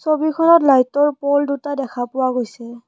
ছবিখনত লাইটৰ প'ল দুটা দেখা পোৱা গৈছে।